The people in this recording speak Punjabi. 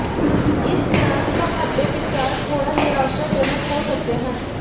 ਇਸ ਤਰ੍ਹਾਂ ਤੁਹਾਡੇ ਵਿਚਾਰ ਥੋੜ੍ਹਾ ਨਿਰਾਸ਼ਾਜਨਕ ਹੋ ਸਕਦੇ ਹਨ